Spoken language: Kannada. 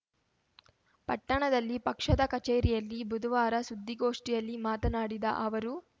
ಪಟ್ಟಣದಲ್ಲಿ ಪಕ್ಷದ ಕಚೇರಿಯಲ್ಲಿ ಬುಧವಾರ ಸುದ್ದಿಗೋಷ್ಠಿಯಲ್ಲಿ ಮಾತನಾಡಿದ ಅವರು